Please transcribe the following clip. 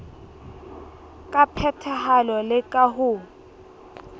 ka phethahalo le ka ho